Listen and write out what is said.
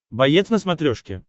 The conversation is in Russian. боец на смотрешке